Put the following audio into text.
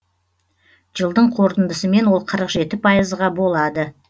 жылдың қорытындысымен ол қырық жеті пайызға болады